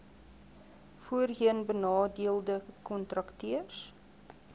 voorheen benadeelde kontrakteurs